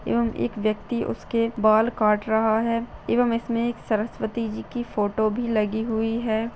एवं एक व्यक्ति उसके बाल काट रहा है एवं इसमें एक सरस्वती जी की फोटो भी लगी हुई है।